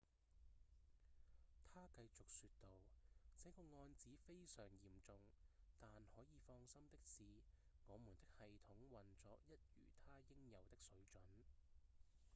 他繼續說道：「這個案子非常嚴重但可以放心的是我們的系統運作一如它應有的水準」